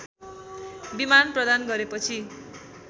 विमान प्रदान गरेपछि